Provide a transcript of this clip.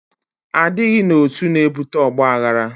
Adịghị n'otu, na-ebute ọgbaghara